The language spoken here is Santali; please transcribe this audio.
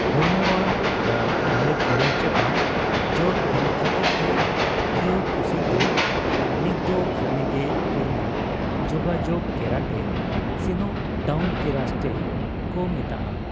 ᱦᱚᱲᱢᱚᱣᱟᱱ, ᱯᱨᱟᱹᱼᱫᱟᱲᱮ ᱠᱷᱮᱞᱚᱸᱰ ᱪᱮᱛᱟᱱ ᱡᱳᱨ ᱮᱢ ᱠᱷᱟᱹᱛᱤᱨᱛᱮ, ᱠᱤᱭᱳᱠᱩᱥᱤᱱ ᱫᱚ ᱱᱤᱛᱫᱚ ᱜᱷᱟᱱᱮᱜᱮ ᱯᱩᱨᱱᱚᱼ ᱡᱳᱜᱟᱡᱳᱜᱽ ᱠᱮᱨᱟᱴᱮ ᱥᱮᱱᱚᱠᱼ ᱰᱟᱣᱩᱱ ᱠᱮᱨᱟᱥᱴᱮ ᱠᱚ ᱢᱮᱛᱟᱜᱼᱟ ᱾